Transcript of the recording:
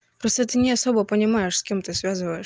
просто ты не особо понимаешь с кем ты связываешь